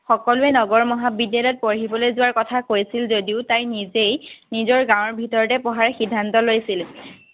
সকলোৱে নগৰ মহাবিদ্যালয়ত পঢ়িবলৈ যোৱাৰ কথা কৈছিল যদিও তাই নিজে নিজৰ গাঁৱৰ ভিতৰতে পঢ়াৰ সিদ্ধান্ত লৈছিল।